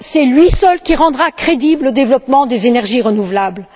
Lui seul rendra crédible le développement des énergies renouvelables.